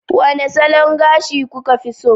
Wane salon gashi kuka fi so